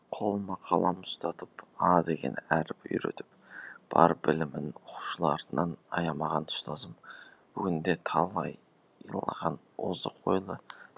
қолыма қалам ұстатып а деген әріп үйретіп бар білімін оқушыларынан аямаған ұстазым бүгінде талайлаған озық ойлы